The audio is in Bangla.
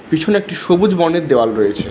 পিছনে একটি সবুজ বর্ণের দেওয়াল রয়েছে।